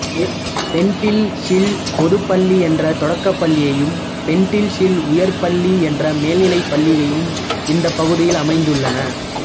பெண்டில் hill பொதுப் பள்ளி என்ற தொடக்கப்பள்ளியும் பெண்டில் ஹில் உயர்நிலைப்பள்ளி என்ற மேல்நிலைப்பள்ளியும் இந்த பகுதியில் அமைந்துள்ளன